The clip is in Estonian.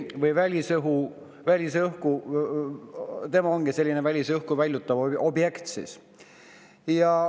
Ta on selline välisõhku väljutav objekt.